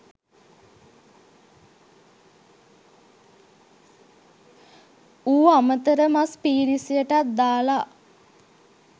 ඌ අමතර මස් පීරිසියටත් දාලා.